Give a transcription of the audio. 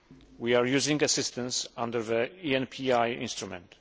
We are using assistance under the ENPI instrument.